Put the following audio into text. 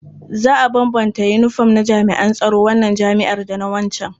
Za a bambanta yinifom na jami'an tsaron wannan jami'ar da na waccan.